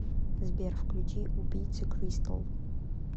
сбер включи убийцы кристал